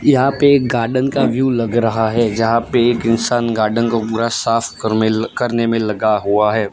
यहां पे एक गार्डन का व्यू लग रहा है जहां पे एक एक इंसान गार्डन को पूरा साफ करनेल करने में लगा हुआ है।